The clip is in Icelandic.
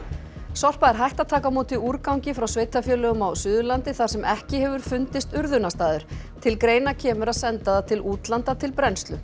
Sorpa er hætt að taka á móti úrgangi frá sveitarfélögum á Suðurlandi þar sem ekki hefur fundist urðunarstaður til greina kemur að senda það til útlanda til brennslu